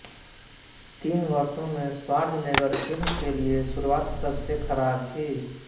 तीस वर्षों में श्वार्ज़नेगर फिल्म के लिए शुरुआत सबसे खराब थी